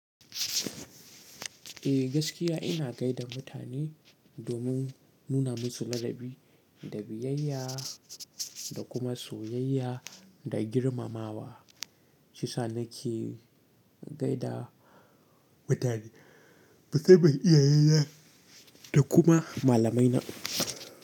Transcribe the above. Eh gaskiya ina gaida mutane domin nuna musu ladabi da biyayya da kuma soyayya da girmamawa. Shiyasa nake gaida mutane, musamman iyaye na da kuma malamaina.